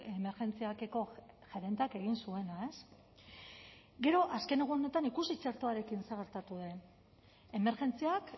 emergentziak eko gerenteak egin zuena ez gero azken egunetan ikusi txertoarekin zer gertatu den emergentziak